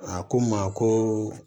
A ko n ma ko